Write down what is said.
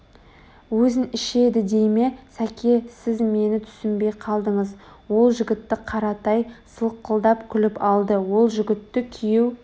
Өзін ішеді дей ме сәке сіз мені түсінбей қалдыңыз ол жігітті қаратай сылқылдап күліп алды ол жігітті күйеу